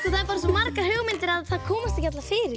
það eru svo margar hugmyndir að þær komast ekki allar fyrir